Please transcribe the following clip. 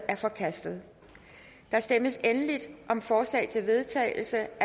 er forkastet der stemmes endelig om forslag til vedtagelse